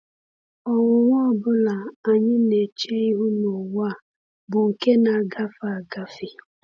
Ọnwụnwa ọ bụla anyị na-eche ihu n’ụwa a bụ nke na-agafe agafe.